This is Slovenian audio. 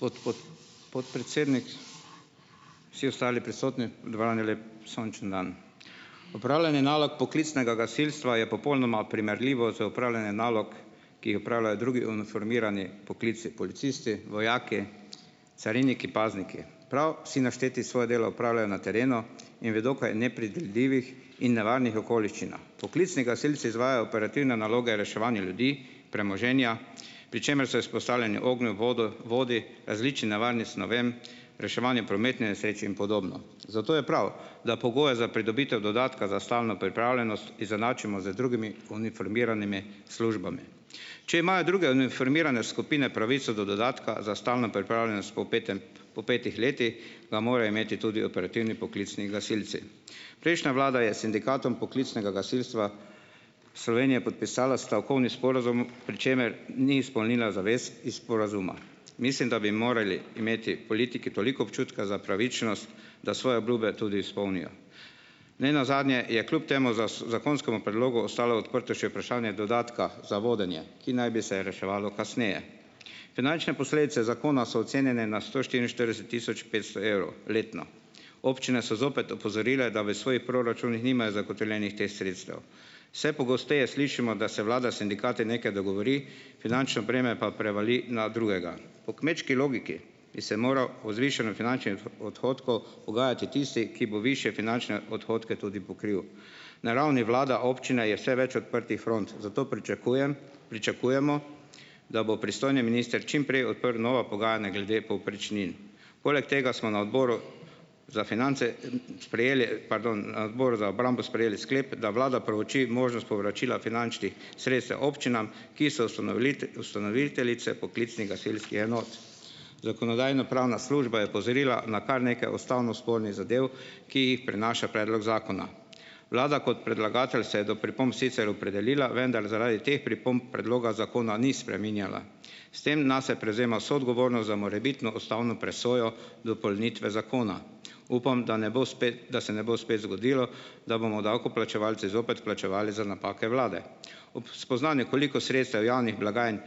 Gospod podpredsednik, vsi ostali prisotni, lep sončen dan. Opravljanje nalog poklicnega gasilstva je popolnoma primerljivo z opravljanjem nalog, ki opravljajo drugi uniformirani poklici, policisti, vojaki, cariniki, pazniki. Prav vsi našteti svoje delo opravljajo na terenu in vedo, kaj nepredvidljivih, nevarnih okoliščinah. Poklicni gasilci izvajajo operativne naloge reševanja ljudi, premoženja, pri čemer so izpostavljeni ognju, vodu, vodi, različnim nevarnim snovem, reševanje prometne nesreče in podobno. Zato je prav, da pogoje za pridobitev dodatka za stalno pripravljenost izenačimo z drugimi uniformiranimi službami. Če imajo druge uniformirane skupine pravico do dodatka za stalno pripravljenost po petem, po petih letih, ga morajo imeti tudi operativni poklicni gasilci. Prejšnja vlada je Sindikatom poklicnega gasilstva Slovenije podpisala stavkovni sporazum, pri čemer ni izpolnila zavest iz sporazuma. Mislim, da bi morali imeti politiki toliko občutka za pravičnost, da svoje obljube tudi izpolnijo. Nenazadnje je kljub temu zakonskemu predlogu ostalo odprto še vprašanje dodatka za vodenje, ki naj bi se reševalo kasneje. Finančne posledice zakona so ocenjene na sto štiriinštirideset tisoč petsto evrov letno. Občine so zopet opozorile, da v svojih proračunih nimajo zagotovljenih teh sredstev. Vse pogosteje slišimo, da se vlada s sindikati nekaj dogovori, finančno breme pa prevali na drugega. Po kmečki logiki bi se moral o zvišanem finančnem odhodku pogajati tisti, ki bo višje finančne odhodke tudi pokril. Na ravni vlada-občine je vse več odprtih front, zato pričakujem, pričakujemo, da bo pristojni minister čimprej odprl nova pogajanja glede povprečnin. Poleg tega smo na Odboru za finance sprejeli, pardon, na Odboru za obrambo sprejeli sklep, da vlada preuči možnost povračila finančnih sredstev občinam, ki so ustanoviteljice poklicnih gasilskih enot . Zakonodajno-pravna služba je opozorila na kar nekaj ustavno spornih zadev, ki jih prinaša predlog zakona. Vlada kot predlagatelj se je do pripomb sicer opredelila, vendar zaradi teh pripomb predloga zakona ni spreminjala. S tem nase prevzema vso odgovornost za morebitno ustavno presojo dopolnitve zakona. Upam, da ne bo spet, da se ne bo spet zgodilo, da bomo davkoplačevalci zopet plačevali za napake vlade. Ob spoznanju, koliko sredstev javnih blagajn